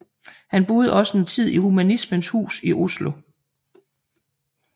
Han boede også en tid i Humanismens Hus i Oslo